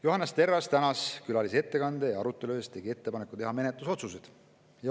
Johannes Terras tänas külalisi ettekande ja arutelu eest ning tegi ettepaneku teha menetlusotsused.